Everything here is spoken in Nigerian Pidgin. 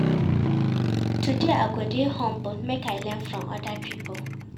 Today, I go dey humble make I learn from oda pipo.